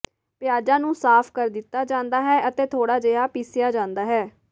ਪਿਆਜ਼ਾਂ ਨੂੰ ਸਾਫ਼ ਕਰ ਦਿੱਤਾ ਜਾਂਦਾ ਹੈ ਅਤੇ ਥੋੜਾ ਜਿਹਾ ਪੀਸਿਆ ਜਾਂਦਾ ਹੈ